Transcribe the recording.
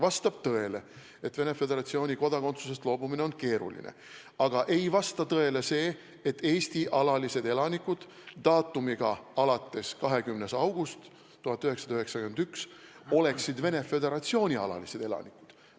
Vastab tõele, et Venemaa Föderatsiooni kodakondsusest loobumine on keeruline, aga ei vasta tõele see, et Eesti alalised elanikud alates 20. augustist 1991 oleksid Venemaa Föderatsiooni alalised elanikud.